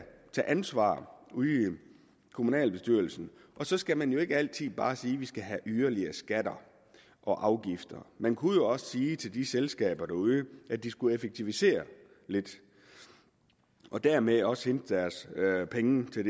tage ansvar ude i kommunalbestyrelsen og så skal man jo ikke altid bare sige at vi skal have yderligere skatter og afgifter man kunne jo også sige til de selskaber derude at de skulle effektivisere lidt og dermed også hente deres penge til